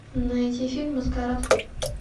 найти фильм маскарад